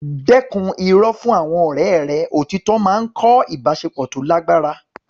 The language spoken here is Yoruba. Dẹ́kun irọ́ fún àwọn ọ̀rẹ́ rẹ; Òtítọ́ máa ń kọ́ ìbáṣepọ̀ tó lágbára.